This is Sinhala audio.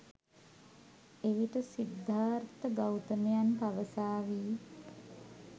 එවිට සිද්ධාර්ථ ගෞතමයන් පවසාවි.